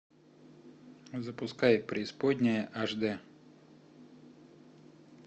запускай преисподняя аш дэ